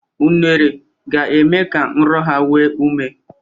Unere, ga-eme ka nrọ ha nwee ume.